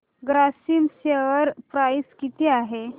Grasim share price किती आहे